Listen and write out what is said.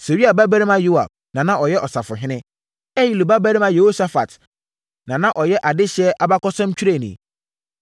Seruia babarima Yoab na na ɔyɛ ɔsafohene. Ahilud babarima Yehosafat na na ɔyɛ adehyeɛ abakɔsɛmtwerɛni.